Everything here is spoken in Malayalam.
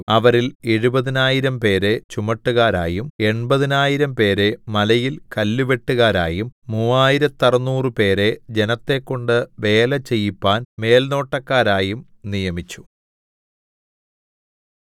അവരിൽ എഴുപതിനായിരംപേരെ ചുമട്ടുകാരായും എൺപതിനായിരംപേരെ മലയിൽ കല്ലുവെട്ടുകാരായും മൂവായിരത്തറുനൂറുപേരെ ജനത്തെക്കൊണ്ട് വേല ചെയ്യിപ്പാൻ മേൽനോട്ടക്കാരായും നിയമിച്ചു